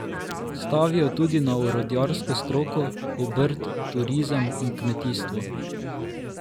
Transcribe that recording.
Stavijo tudi na orodjarsko stroko, obrt, turizem in kmetijstvo.